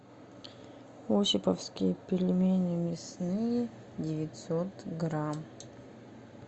осиповские пельмени мясные девятьсот грамм